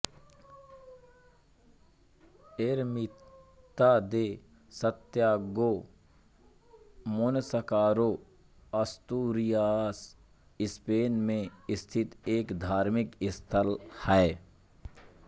Ermita de Santiago Monsacro Asturias Spain में स्थित एक धार्मिक स्थल है